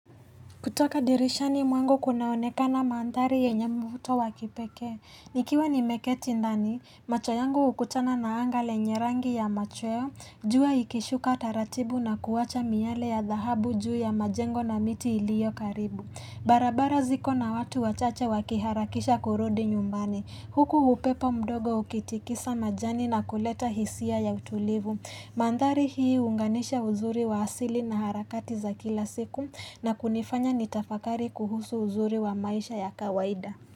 Kutoka dirishani mwangu kunaonekana mandhari yenye mvuto wakipekee, nikiwa nimeketi ndani, macho yangu hukutana na anga lenye rangi ya machweo, jua ikishuka taratibu na kuwacha miale ya dhahabu juu ya majengo na miti iliyo karibu. Barabara ziko na watu wachache wakiharakisha kurudi nyumbani. Huku upepo mdogo ukitikisa majani na kuleta hisia ya utulivu. Mandhari hii hunganisha uzuri wa asili na harakati za kila siku na kunifanya nitafakari kuhusu uzuri wa maisha ya kawaida.